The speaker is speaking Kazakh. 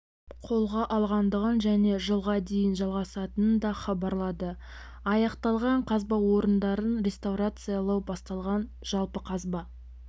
қолға алынғандығын және жылға дейін жалғасатынын да хабарлады аяқталған қазба орындарын реставрациялау басталған жалпы қазба